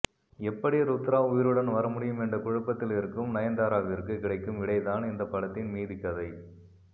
எப்படி ருத்ரா உயிருடன் வரமுடியும் என்ற குழப்பத்தில் இருக்கும் நயன்தாராவிற்கு கிடைக்கும் விடைதான் இந்த படத்தின் மீதிக்கதை